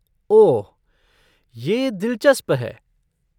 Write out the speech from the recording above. ओह, यह दिलचस्प है।